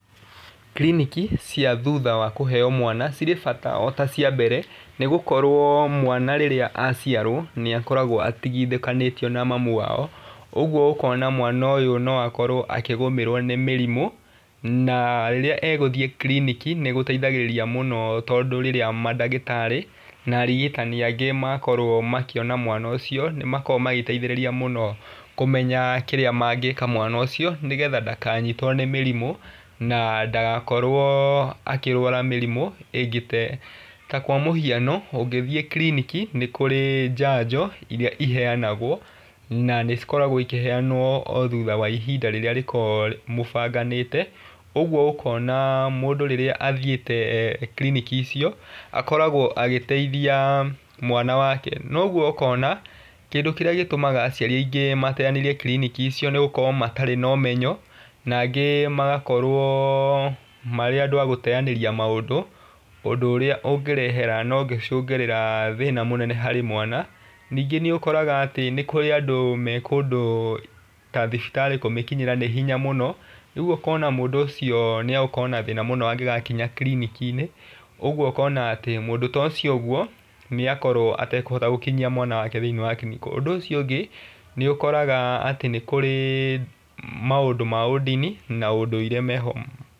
Kiriniki cia thutha wa kũheo mwana cirĩ bata o ta cia mbere nĩ gũkorwo mwana rĩrĩa aciarwo nĩ akoragwo atigithũkanĩtio na mamu wao. Ũguo ũkona mwana ũyũ no akorwo akĩgũmĩrwo nĩ mĩrimũ na rĩrĩa egũthiĩ kiriniki nĩ gũteithagĩrĩriua mũno tondũ rĩrĩa mandagĩtarĩ na arigitani angĩ makorwo makĩona mwana ũcio. Nĩ makoragwo magĩteithĩrĩria mũno kumenya kĩria mangĩka mwana ũcio nĩ getha ndakanyitwo nĩ mĩrimu na ndagakorwo akĩrwara mĩrimũ ĩngĩ ta ĩyo. Ta kwa mũhiano ũngĩthiĩ kiriniki nĩ kũrĩ njanjo iria iheanagwo na nĩ cikoragwo ikiheanwo o thutha wa ihinda rĩrĩa rĩkoragwo mũbanganĩte. ũguo mũkona mũndũ rĩrĩa athiĩte kiriniki icio akoragwo agĩteithia mwana wake. Noguo ũkona kĩndũ kĩrĩa gĩtũmaga aciari aingĩ mateanĩrie kiriniki icio nĩ gfũkorwo matarĩ na ũmenyo na angĩ magakorwo marĩ andũ agũteanĩria maũndũ. Ũndũ ũrĩa ũngĩrehera na ũngĩcungĩrĩria thĩna mũnene harĩ mwana. Ningĩ nĩ ũkoraga nĩ harĩ andũ me kũndũ ta thibitarĩ kũmĩkinyĩra nĩ hinya mũno rĩu ũkona mũndũ ũcio nĩ egũkorwo na thina mũno angĩgakinya kiriniki-inĩ. Ũguo ũkona atĩ mũndũ ta ũcio ũguo nĩ akorwo atekũhota gũkinyia mwana wake kiriniki. Ũndũ ũcio ũngĩ nĩ ũkoraga atĩ nĩ kũrĩ maũndũ ma ũndini na ũndũire meho.